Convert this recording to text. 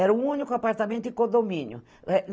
Era o único apartamento em condomínio.